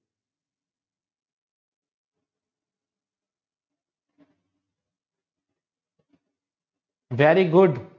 very good